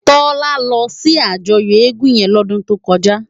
Tola lò si àjòyò égùn yèn lòdùn tókòjá